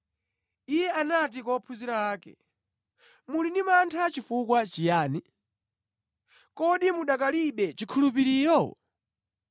Iye anati kwa ophunzira ake, “Muli ndi mantha chifukwa chiyani? Kodi mukanalibe chikhulupiriro?”